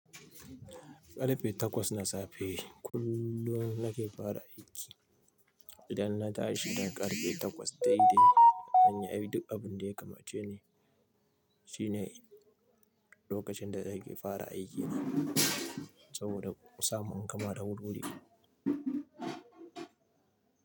Karfe takwas na safe kullum nake fara aiki. Idan na tashi da karfe takwas daidai, zanyi duk abin da ya kamace ni. Shi ne lokacin da nake fara aiki na saboda in samu gama da wuri-wuri.